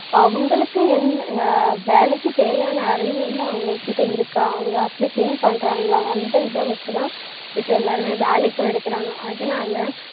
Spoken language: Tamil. அவங்களுக்கு என்~ வேலைக்கு தேவையான அறிவு வந்து அவங்ககிட்ட இருக்கா, அவங்க அப்படி think பண்றாங்களா, அந்த இத வச்சு தான் இப்ப எல்லாருமே வேலைக்கும் எடுக்குறாங்க